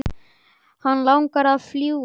Hann langaði að fljúga.